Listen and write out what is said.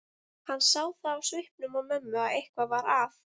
Hann sá það á svipnum á mömmu að eitthvað var að.